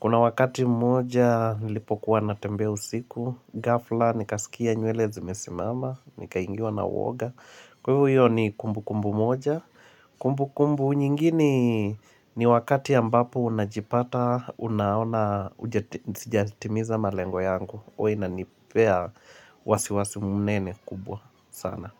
Kuna wakati mmoja nilipokuwa natembea usiku, gafla nikasikia nywele zimesimama Nikaingiwa na uoga. Kwa hivyo iyo ni kumbu kumbu moja Kumbu kumbu nyingine, ni wakati ambapo unajipata unaona ujati, sijatimiza malengo yangu. Huwa inanipea wasiwasi mnene kubwa sana.